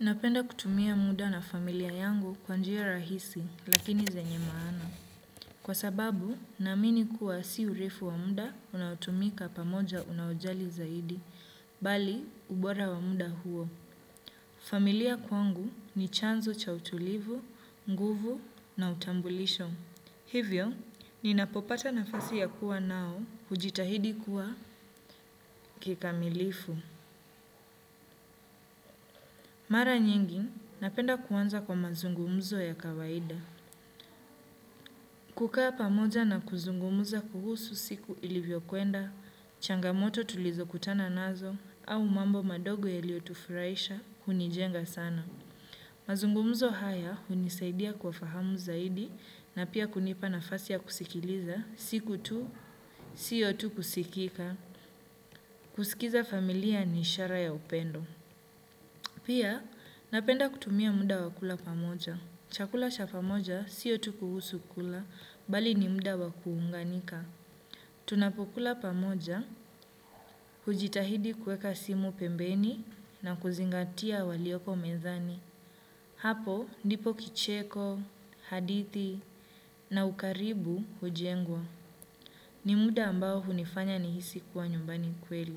Napenda kutumia muda na familia yangu kwa njia rahisi lakini zenye maana. Kwa sababu, naamini kuwa si urefu wa muda unaotumika pamoja unaojali zaidi, bali ubora wa muda huo. Familia kwangu ni chanzo cha utulivu, nguvu na utambulisho. Hivyo, ninapopata nafasi ya kuwa nao hujitahidi kuwa kikamilifu. Mara nyingi, napenda kuanza kwa mazungumzo ya kawaida. Kukaa pamoja na kuzungumuza kuhusu siku ilivyo kwenda, changamoto tulizo kutana nazo, au mambo madogo yaliyo tufurahisha, hunijenga sana. Mazungumzo haya, hunisaidia kwa fahamu zaidi, na pia kunipa nafasi ya kusikiliza, siku tu, siyo tu kusikika, kusikiza familia ni ishara ya upendo. Pia, napenda kutumia muda wa kula pamoja. Chakula cha pamoja sio tu kuhusu kula, bali ni muda wa kuunganika. Tunapokula pamoja, hujitahidi kueka simu pembeni na kuzingatia walioko mezani. Hapo, ndipo kicheko, hadithi na ukaribu hujengwa. Ni muda ambao hunifanya nihisi kuwa nyumbani kweli.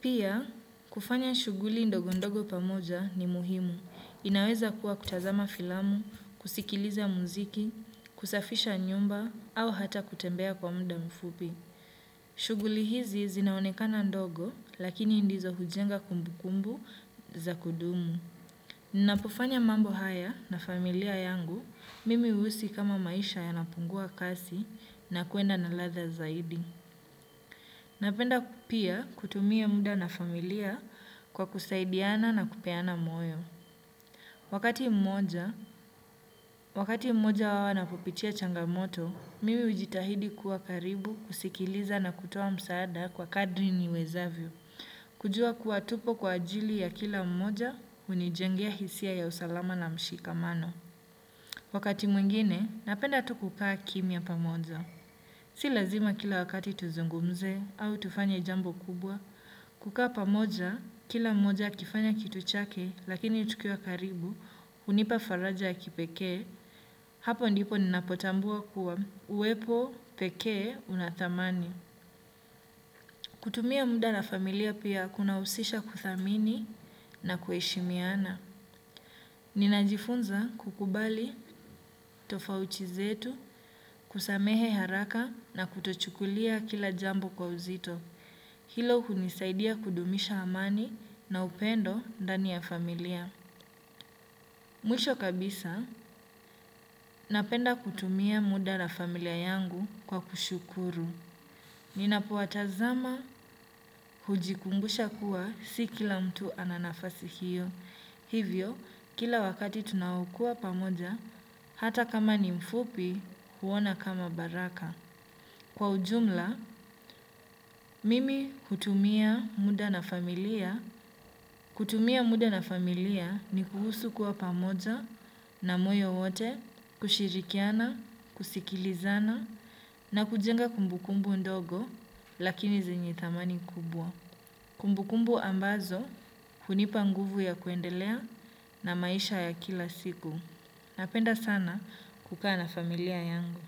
Pia, kufanya shughuli ndogo ndogo pamoja ni muhimu. Inaweza kuwa kutazama filamu, kusikiliza muziki, kusafisha nyumba, au hata kutembea kwa muda mfupi. Shughuli hizi zinaonekana ndogo, lakini ndizo hujenga kumbu kumbu za kudumu. Napofanya mambo haya na familia yangu, mimi huhisi kama maisha yanapungua kasi na kuenda na ladha zaidi. Napenda pia kutumia muda na familia kwa kusaidiana na kupeana moyo. Wakati mmoja, wakati mmoja huwa napopitia changamoto, mimi hujitahidi kuwa karibu kusikiliza na kutoa msaada kwa kadri niwezavyo. Kujua kuwa tupo kwa ajili ya kila mmoja hunijengea hisia ya usalama na mshikamano. Wakati mwingine, napenda tu kukaa kimya pamoja. Si lazima kila wakati tuzungumze au tufanye jambo kubwa, kukaa pamoja, kila mmoja akifanya kitu chake lakini tukiwa karibu, hunipa faraja ya kipekee, hapo ndipo ninapotambua kuwa, uwepo, pekee, una thamani. Kutumia muda na familia pia kuna husisha kuthamini na kuheshimiana. Ninajifunza kukubali tofauti zetu, kusamehe haraka na kutochukulia kila jambo kwa uzito. Hilo hunisaidia kudumisha amani na upendo ndani ya familia. Mwisho kabisa, napenda kutumia muda na familia yangu kwa kushukuru. Ninapowatazama hujikumbusha kuwa si kila mtu ana nafasi hiyo. Hivyo, kila wakati tunaokuwa pamoja, hata kama ni mfupi huona kama baraka. Kwa ujumla, mimi hutumia muda na familia. Kutumia muda na familia ni kuhusu kuwa pamoja na moyo wote, kushirikiana, kusikilizana na kujenga kumbukumbu ndogo lakini zenye thamani kubwa. Kumbukumbu ambazo hunipa nguvu ya kuendelea na maisha ya kila siku. Napenda sana kukaa na familia yangu.